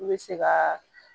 N bɛ se ka